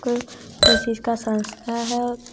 को कोई चीज का संस्था है।